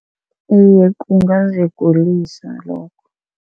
Iye, kungazigulisa lokho.